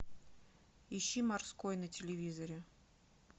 ищи морской на телевизоре